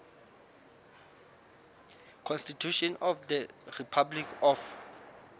constitution of the republic of